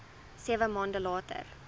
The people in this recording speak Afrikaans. sewe maande later